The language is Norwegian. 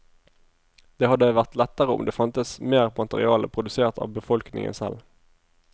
Det hadde vært lettere om det fantes mer materiale produsert av befolkningen selv.